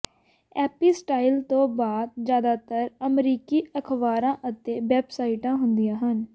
ਐਪੀ style ਤੋਂ ਬਾਅਦ ਜ਼ਿਆਦਾਤਰ ਅਮਰੀਕੀ ਅਖਬਾਰਾਂ ਅਤੇ ਵੈੱਬਸਾਈਟਾਂ ਹੁੰਦੀਆਂ ਹਨ